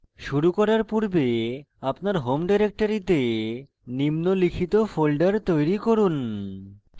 শুরু করার পূর্বে আপনার home ডিরেক্টরীতে নিম্নলিখিত folders তৈরি করুন